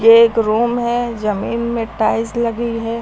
एक रूम है जमीन में टाइल्स लगी है।